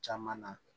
Caman na